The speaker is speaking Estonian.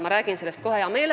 Ma räägiksin sellest hea meelega.